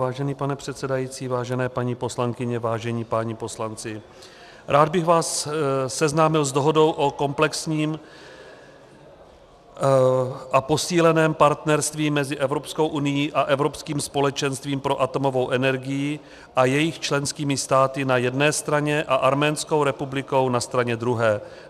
Vážený pane předsedající, vážené paní poslankyně, vážení páni poslanci, rád bych vás seznámil s Dohodou o komplexním a posíleném partnerství mezi Evropskou unií a Evropským společenstvím pro atomovou energii a jejich členskými státy na jedné straně a Arménskou republikou na straně druhé.